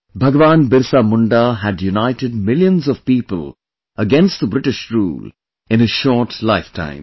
Bahgwan BirsaMunda had united millions of people against the British rule in his short lifetime